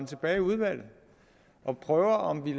tilbage i udvalget og prøver om vi